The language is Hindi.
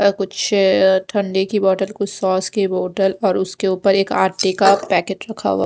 कुछ ठंडे की बोटल कुछ सॉस की बोटल और उसके ऊपर एक आटे का पैकेट रखा हुआ--